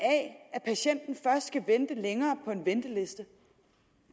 at patienten først skal vente længere på en venteliste